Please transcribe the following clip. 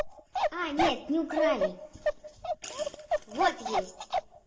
а нет не украли вот есть